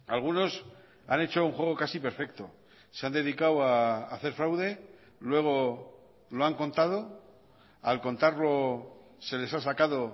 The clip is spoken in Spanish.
algunos han hecho un juego casi perfecto se han dedicado a hacer fraude luego lo han contado al contarlo se les ha sacado